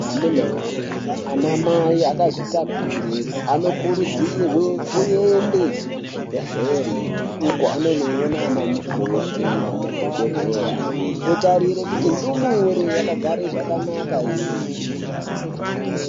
Amuna woye, anamai akazvitakure anokurudzirwe kuende kuzvibhedhlere uko anondoone anamukoti nanadhogodheya, otarire kuti ndumure yakagara zvakanaka ere mundani.